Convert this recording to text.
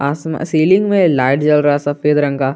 Ceiling में light जल रहा है सफेद रंग का।